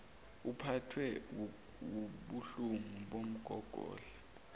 uphathwe wubuhlungu bomgogodla